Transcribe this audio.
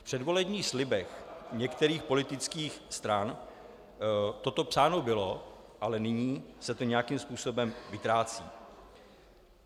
V předvolebních slibech některých politických stran toto psáno bylo, ale nyní se to nějakým způsobem vytrácí.